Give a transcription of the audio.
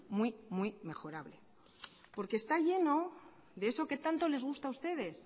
muy muy mejorable porque está lleno de eso que tanto les gusta a ustedes